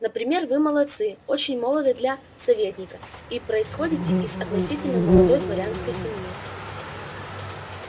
например вы молодцыы очень молоды для советника и происходите из относительно молодой дворянской семьи